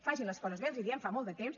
facin les coses bé els hi diem fa molt de temps